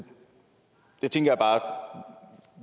jeg tænkte